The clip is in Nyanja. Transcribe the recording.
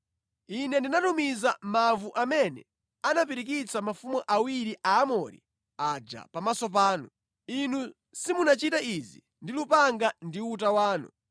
Ine ndinatumiza mavu amene anapirikitsa mafumu awiri Aamori aja pamaso panu. Inu simunachite izi ndi lupanga ndi uta wanu.